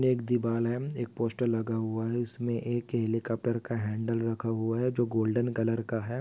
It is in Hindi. एक दीवाल है एक पोस्टर लगा हुआ है इसमें का हैंडल रखा हुआ है जो गोल्डन कलर का है।